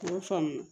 U y'o faamu